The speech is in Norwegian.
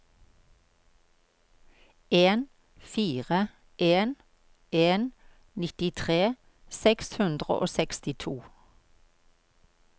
en fire en en nittitre seks hundre og sekstito